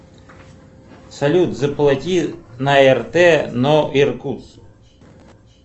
салют заплати на рт но иркутск